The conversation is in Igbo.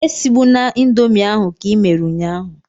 Esigbuna indomie ahụ ka i mere ụnyahụ!